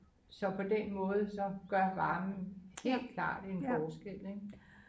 så på den måde så gør varmen helt klart en forskel ik